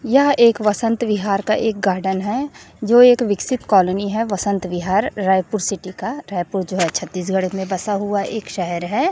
यहाँ एक वसंत विहार का एक गार्डन है जो एक विकसित कॉलोनी है वसंत विहार रायपुर सिटी का रायपुर जो हैं छत्तीसगढ़ में बसा हुआ एक शहर है।